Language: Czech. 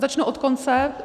Začnu od konce.